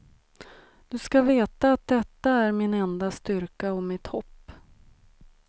Du skall veta att detta är min enda styrka och mitt hopp.